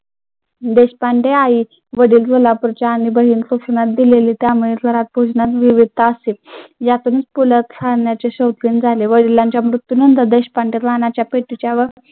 देशपांडे आई वडील सोलापूरचे आणि दिलेली विविधता असे. यातुनच पु ल गाण्याचे शौकीन झाले व वडिलांच्या मृत्यू नंतर देशपांडे